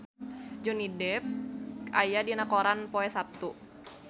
Johnny Depp aya dina koran poe Saptu